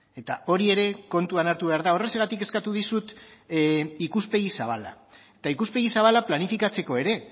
eta hori ere kontuan hartu behar da horrexegatik eskatu dizut ikuspegi zabala eta ikuspegi zabala planifikatzeko ere